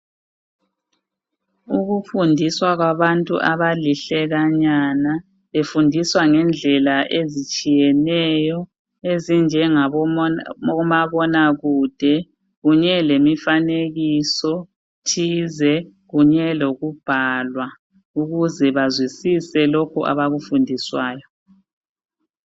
Ukufundiswa kwabantu abalihlekwana befundiswa ngokusebenzisa umabonakude kunye lemifanekiso thize ,kunye lokubhalwa kunye lomsindo ukuze bazwisise abakufundiswayo.